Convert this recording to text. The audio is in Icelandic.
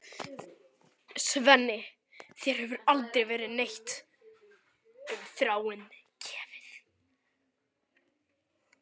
Svenni, þér hefur aldrei verið neitt um Þráin gefið.